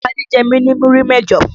Tádé jẹ́ mi ni múrí mẹ́jọ.